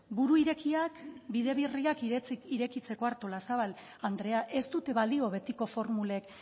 buru irekiak eta bide berriak irekitzeko artolazabal andrea ez dute balio betiko formulek